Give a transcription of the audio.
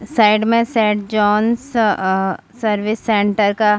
side मे saint Jones आ service centre का--